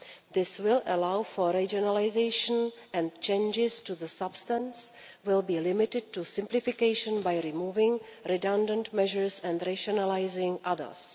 This will allow for regionalisation, and changes to the substance will be limited to simplification by removing redundant measures and regionalising others.